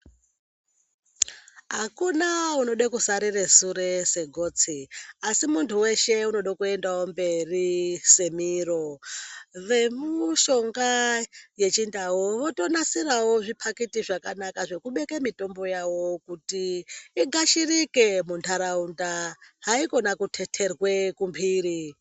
Akuna unoda kusarire sure segotsi asi muntu weshe unoda kuendawo mberi semiro. Vemushonga yechindau votonasirawo zvipaketi zvakanaka zvekubeka mitombo yawo kuti igashirike mundaraunda .Haikona kuteterwe kumbiri.